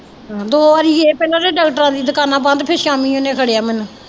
ਦੋ ਵਾਰੀ ਗਏ ਪਹਿਲਾਂ ਤਾਂ ਡਾਕਟਰਾਂ ਦੀ ਦੁਕਾਨਾਂ ਬੰਦ ਫਿਰ ਸ਼ਾਮੀ ਉਹਨੇ ਫੜਿਆ ਮੈਨੂੰ।